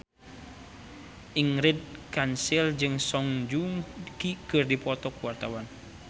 Ingrid Kansil jeung Song Joong Ki keur dipoto ku wartawan